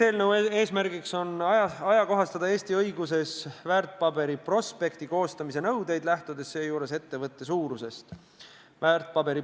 Eelnõu eesmärk on ka ajakohastada Eesti õiguses kehtivaid väärtpaberite prospekti koostamise nõudeid, lähtudes seejuures ettevõtte suurusest.